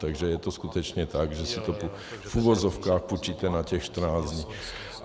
Takže je to skutečně tak, že si to v uvozovkách půjčíte na těch 14 dní.